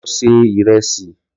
Lọ ọ ṣe ìrẹsì!